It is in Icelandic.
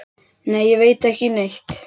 Nei, ég veit ekki neitt.